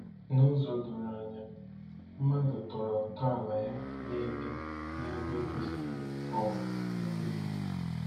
N'ụzọ doro anya, mmadụ tọrọ ntọala ya n'ebe n'ebe kwesịrị um ekwesị.